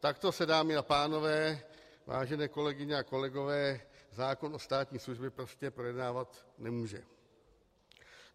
Takto se, dámy a pánové, vážené kolegyně a kolegové, zákon o státní službě prostě projednávat nemůže.